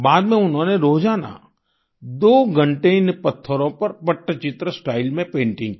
बाद में उन्होंने रोजाना दो घंटे इन पत्थरों पर पट्टचित्र स्टाइल में पेंटिंग की